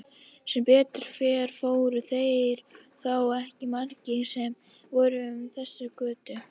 Sem betur fer voru þeir þó ekki margir sem fóru um þessa götu.